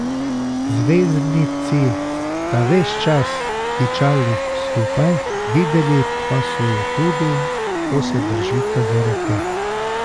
Zvezdnici sta ves čas tičali skupaj, videli pa so ju tudi, kako se držita za roke.